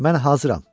Mən hazıram.